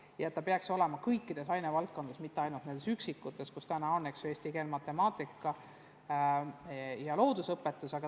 Ja süsteem peaks uuenema kõikides ainevaldkondades, mitte ainult nendes üksikutes ehk eesti keeles, matemaatikas ja loodusõpetuses.